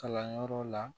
Kalanyɔrɔ la